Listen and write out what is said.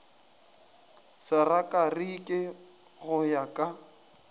sa rakariki go ya ka